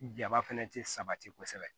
Jaba fɛnɛ tɛ sabati kosɛbɛ